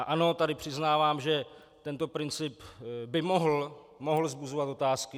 A ano, tady přiznávám, že tento princip by mohl vzbuzovat otázky.